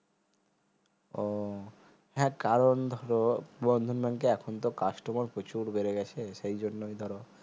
ও হ্যাঁ কারণ ধরো বন্ধন bank এ এখন তো customer তো প্রচুর বেড়ে গেছে সেই জন্যে ধর